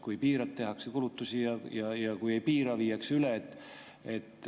Kui piirad, tehakse kulutusi, ja kui ei piira, viiakse üle.